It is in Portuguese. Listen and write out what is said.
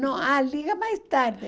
Não, ah, liga mais tarde.